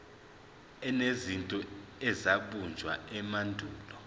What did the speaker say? enezinto ezabunjwa emandulo